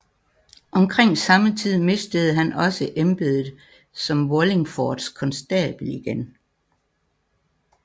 Omkring samme tid mistede han også embedet som Wallingfords konstabel igen